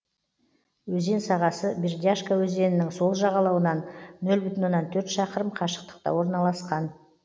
өзен сағасы бердяшка өзенінің сол жағалауынан нөл бүтін оннан төрт шақырым қашықтықта орналасқан